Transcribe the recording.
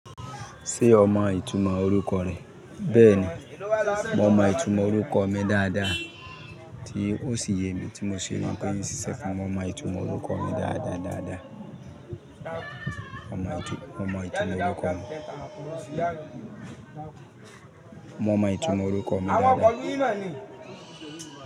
Ṣe o mọ itumo oruko rẹ? Bẹẹni, mo mọ itumo oruko mi dáadáa. Ti o sì yemi tí mo si mọ pé nsí sẹ fún mi, mo mọ itumo oruko mi dáadáa dáadáa. Mo mọ itumo oruko mi dáadáa.